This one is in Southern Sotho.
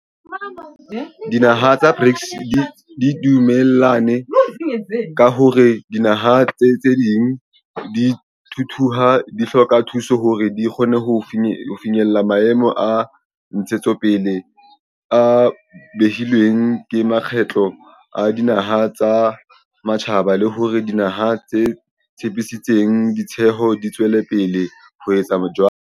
Dinaha tsa BRICS di dume llane ka hore dinaha tse ntseng di thuthuha di hloka thuso hore di kgone ho finyella Maemo a Ntshetsopele a behilweng ke Mokgatlo wa Dinaha tsa Matjhaba le hore dinaha tse tshepisitseng tshehetso di tswele pele ho etsa jwalo.